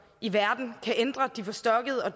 i verden kan ændre de forstokkede og